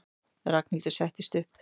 Ragnhildur settist upp.